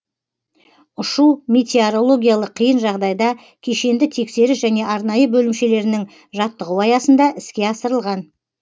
ұшу метеорологиялық қиын жағдайда кешенді тексеріс және арнайы бөлімшелерінің жаттығуы аясында іске асырылған